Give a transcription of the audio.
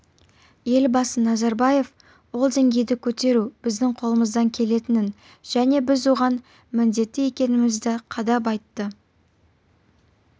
елбасы назарбаев ол деңгейді көтеру біздің қолымыздан келетінін және біз оған міндетті екенімізді қадап айтты